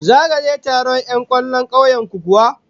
Zaka je taron 'yan kwallon kauyen ku kuwa?